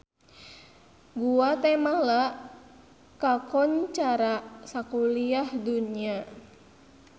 Guatemala kakoncara sakuliah dunya